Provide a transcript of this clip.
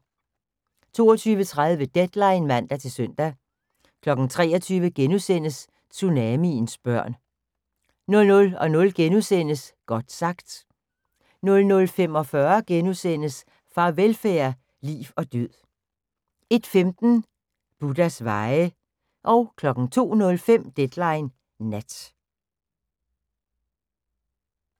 22:30: Deadline (man-søn) 23:00: Tsunamiens børn * 00:00: Godt sagt * 00:45: Farvelfærd: Liv og Død * 01:15: Buddhas veje 02:05: Deadline Nat